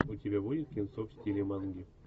у тебя будет кинцо в стиле манги